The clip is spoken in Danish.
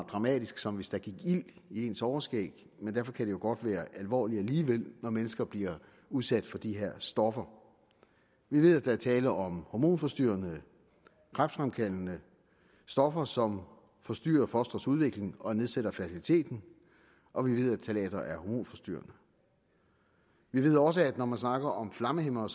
dramatisk som hvis der gik ild i ens overskæg men derfor kan det jo godt være alvorligt alligevel når mennesker bliver udsat for de her stoffer vi ved at der er tale om hormonforstyrrende og kræftfremkaldende stoffer som forstyrrer fostres udvikling og nedsætter fertiliteten og vi ved at ftalater er hormonforstyrrende vi ved også at når man snakker om flammehæmmere